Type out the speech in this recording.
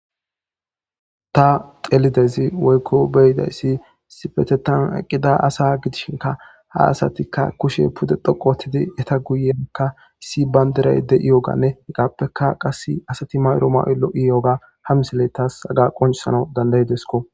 ta xelidezays woykko beyidayssi sifetetan qida asa gidishinka ha asatikka kushe pude dhoqo ottidi eta guyeka issi bayndiray de7i yoganne hegappeka qas asati mayro ma7olo7iyoga hamisille taas aga qoncisana dandayidesko